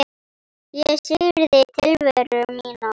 Ég syrgði tilveru mína.